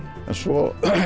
en svo